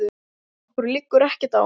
Okkur liggur ekkert á.